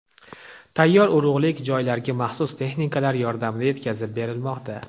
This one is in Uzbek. Tayyor urug‘lik joylarga maxsus texnikalar yordamida yetkazib berilmoqda.